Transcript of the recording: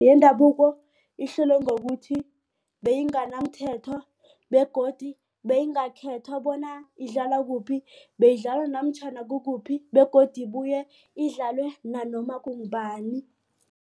Yendabuko ihluke ngokuthi beyinganamthetho begodu beyingakhethwa bona idlalwa kuphi beyidlalwa namtjhana kukuphi begodu ubuye idlalwe nanoma kungubani.